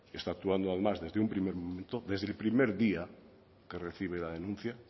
está actuando además desde un primer momento desde el primer día que recibe la denuncia